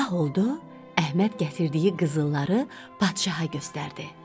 Sabah oldu, Əhməd gətirdiyi qızılları padşaha göstərdi.